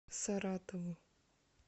саратову